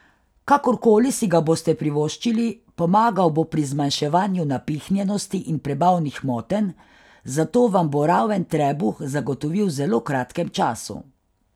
Kakor koli si ga boste privoščili, pomagal bo pri zmanjševanju napihnjenosti in prebavnih motenj, zato vam bo raven trebuh zagotovil v zelo kratkem času.